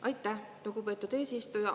Aitäh, lugupeetud eesistuja!